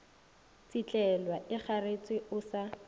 tsetlelwa o ikgareetše o sa